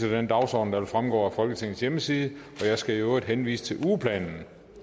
til den dagsorden der fremgår af folketingets hjemmeside jeg skal i øvrigt henvise til ugeplanen